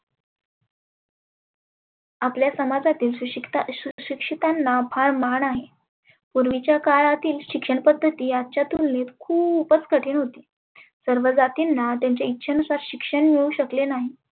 आपल्या समाजातील सुशिक्ता सुशिक्षीतांना फार मान आहे. पुर्विच्या काळातील शिक्षण पद्धती आजच्या तुलनेत खुपच कठीन होती. सर्व जातींना त्यांच्या इच्छे नुसार शिक्षण मिळू शकले नाही.